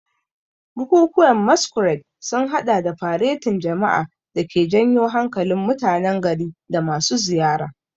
Bukukuwan Masquerade sun hada da faretin jama'a da ke janyo hankalin mutanen gari da masu ziyara.